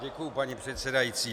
Děkuju, paní předsedající.